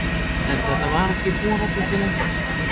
En þetta var ekki þorandi til lengdar.